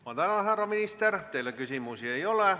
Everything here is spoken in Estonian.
Ma tänan härra minister, teile küsimusi ei ole.